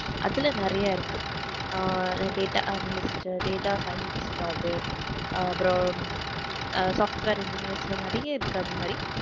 அதுல நிறைய இருக்கு ah data analyst data scientist job அப்பறம் அஹ் software engineers ல நிறைய இருக்கு அந்த மாதிரி